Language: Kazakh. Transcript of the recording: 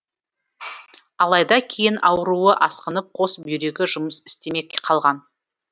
алайда кейін ауруы асқынып қос бүйрегі жұмыс істемей қалған